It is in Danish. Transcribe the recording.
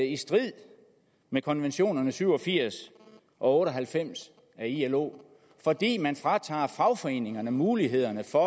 i strid med konventionerne syv og firs og otte og halvfems af ilo fordi man fratager fagforeningerne mulighederne for